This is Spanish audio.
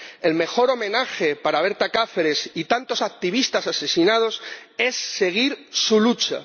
El mejor homenaje para Berta Cáceres y tantos activistas asesinados es seguir su lucha.